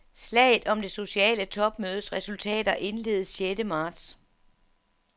Slaget om det sociale topmødes resultater indledes sjette marts.